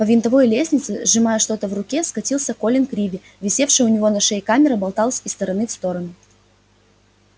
по винтовой лестнице сжимая что-то в руке скатился колин криви висевшая у него на шее камера болталась из стороны в сторону